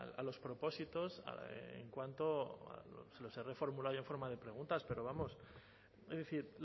a los propósitos en cuanto se las he reformulado en forma de preguntas pero vamos es decir